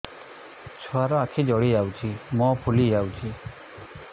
ଛୁଆର ଆଖି ଜଡ଼ି ଯାଉଛି ମୁହଁ ଫୁଲି ଯାଇଛି